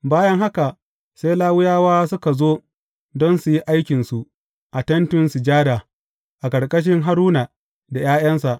Bayan haka, sai Lawiyawa suka zo don su yi aikinsu a Tentin Sujada, a ƙarƙashin Haruna da ’ya’yansa.